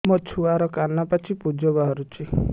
ମୋ ଛୁଆର କାନ ପାଚି ପୁଜ ବାହାରୁଛି